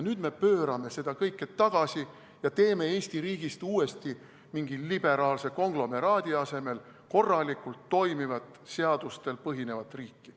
Nüüd meie pöörame seda kõike tagasi ja teeme Eesti riigist uuesti mingi liberaalse konglomeraadi asemel korralikult toimivat, seadustel põhinevat riiki.